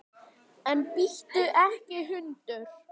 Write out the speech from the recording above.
En bíttu ekki, hundur!